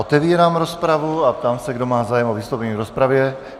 Otevírám rozpravu a ptám se, kdo má zájem o vystoupení v rozpravě.